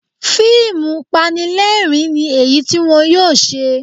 Fíìmù Panilẹ́rìn-ín ni èyí tí wọn yóò ṣe